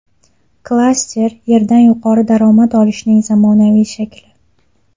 Klaster – yerdan yuqori daromad olishning zamonaviy shakli.